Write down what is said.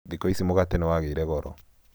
thĩkũ ici mũgate nĩwagĩire goro